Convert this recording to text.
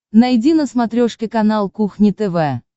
найди на смотрешке канал кухня тв